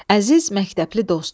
Əziz məktəbli dost!